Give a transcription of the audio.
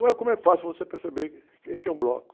como é fácil você perceber que, que é um bloco.